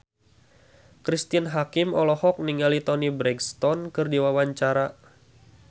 Cristine Hakim olohok ningali Toni Brexton keur diwawancara